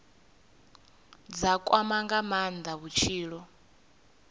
dza kwama nga maanda vhutshilo